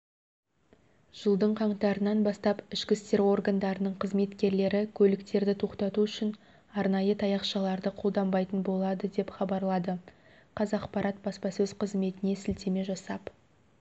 жылдың қаңтарынан бастап ішкі істер органдарының қызметкерлері көліктерді тоқтату үшін арнайы таяқшаларды қолданбайтын болады деп хабарлады қазақпарат баспасөз қызметіне сілтеме жасап